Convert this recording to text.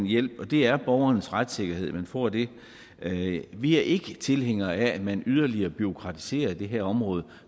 hjælp og det er borgerens retssikkerhed at man får det det vi er ikke tilhængere af at man yderligere bureaukratiserer det her område